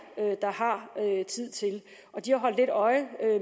der har tid til og de holdt lidt øje